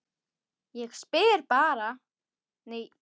Ég bara spyr.